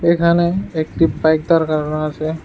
এখানে একটি বাইক দাঁড় করানো আসে।